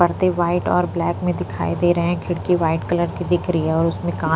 परदे व्हाइट और ब्लैक में दिखाई दे रहे हैं खिड़की व्हाइट कलर की दिख रही है और उसमें काँ --